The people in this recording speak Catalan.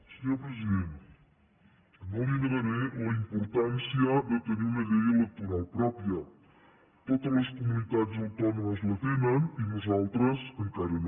senyor president no li negaré la importància de tenir una llei electoral pròpia totes les comunitats autònomes la tenen i nosaltres encara no